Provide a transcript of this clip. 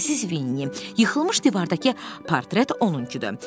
Əziz Vinni, yıxılmış divardakı portret onunkudur.